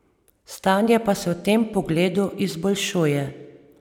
Stanje pa se v tem pogledu izboljšuje.